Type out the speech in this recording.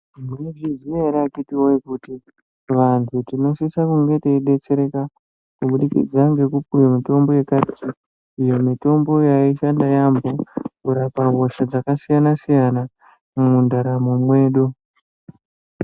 Munozviziya ere akhithi woyee kuti vantu tinosise kunge teidetsereka kubudikidza ngekupuwa mitombo yekaretu. Iyo mitombo yaishanda yaamho kurapa hosha dzakasiyana siyana mundaramo mwedu.